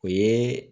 O ye